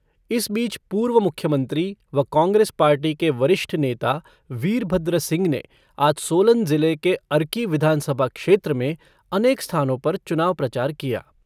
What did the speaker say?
इस बीच पूर्व मुख्यमंत्री व कांग्रेस पार्टी के वरिष्ठ नेता वीरभद्र सिंह ने आज सोलन जिले के अर्की विधानसभा क्षेत्र में अनेक स्थानों पर चुनाव प्रचार किया।